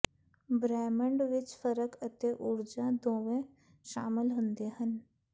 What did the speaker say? ਬ੍ਰਹਿਮੰਡ ਵਿੱਚ ਫਰਕ ਅਤੇ ਊਰਜਾ ਦੋਵੇਂ ਸ਼ਾਮਲ ਹੁੰਦੇ ਹਨ